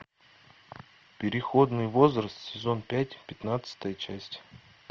переходный возраст сезон пять пятнадцатая часть